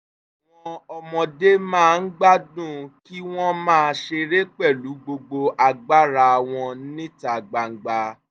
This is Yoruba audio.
àwọn ọmọdé máa ń gbádùn kí wọ́n máa ṣeré pẹ̀lú gbogbo agbára wọn níta gbangba